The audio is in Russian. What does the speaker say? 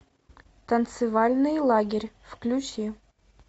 танцевальный лагерь включи